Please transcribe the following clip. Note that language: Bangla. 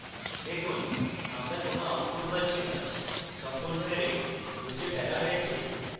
দেখুন আমরা কোন output পাচ্ছি না সম্পূর্ণ যারে মুছে ফেলা হয়েছে